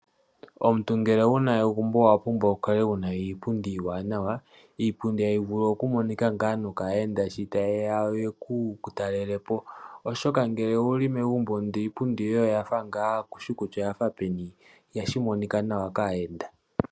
Omuntu ngele owuna egumbo owa pumbwa oku kala wuna iipundi iiwanawa. Iipundi tayi vulu oku monika ngaa nokaayenda sho tayeya yeku talelepo oshoka ngele owuli megumbo ndele iipundi yoye oya fa ngaa kuushi kutya oyafa peni ihashi monika nawa kaayeenda.